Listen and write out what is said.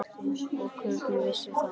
Og hvernig veistu það?